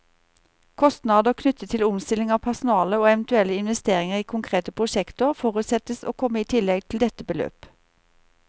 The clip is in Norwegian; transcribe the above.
Kostnader knyttet til omstilling av personale, og eventuelle investeringer i konkrete prosjekter, forutsettes å komme i tillegg til dette beløp.